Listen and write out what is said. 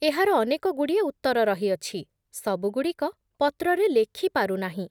ଏହାର ଅନେକ ଗୁଡ଼ିଏ ଉତ୍ତର ରହିଅଛି, ସବୁଗୁଡ଼ିକ ପତ୍ରରେ ଲେଖିପାରୁ ନାହିଁ ।